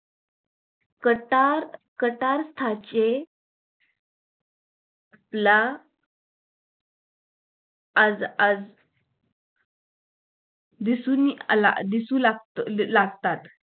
कथार कथारचे ला आज आज दिसुनि आला दिसू लागतं लागतात